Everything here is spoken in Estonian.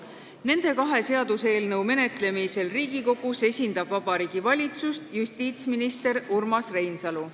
Nende kahe seaduseelnõu menetlemisel Riigikogus esindab Vabariigi Valitsust justiitsminister Urmas Reinsalu.